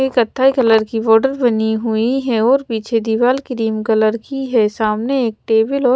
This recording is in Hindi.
एक कथाई कलर की होटल बनी हुई है और पीछे दिवार क्रीम कलर की है सामने एक टेबल और--